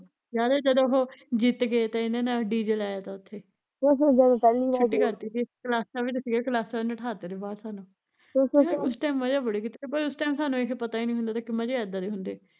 ਯਾਰ ਜਦੋਂ ਉਹ ਜਿੱਤ ਗੇ ਤੇ, ਇਹਨਾਂ ਨੇ ਡੀਜੇ ਲਾਇਆ ਤਾ ਓਥੇ ਛੁੱਟੀ ਕਰਤੀ ਤੀ, ਕਲਾਸਾਂ ਚ ਫੇਰ, ਕਲਾਸਾਂ ਚੋਂ ਨਠਾ ਦਿੱਤਾ ਤਾਂ ਬਾਹਰ ਸਾਨੂੰ ਯਾਰ ਉਸ ਟੈਮ ਮਜ਼ੇ ਬੜੇ ਕਿਤੇ ਪਰ ਉਸ ਟੈਮ ਸਾਨੂੰ ਏਹ ਪਤਾ ਨੀ ਹੁੰਦਾ ਤਾ ਕੀ ਮਜ਼ੇ ਏਦਾਂ ਦੇ ਹੁੰਦੇ